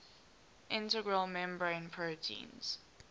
integral membrane proteins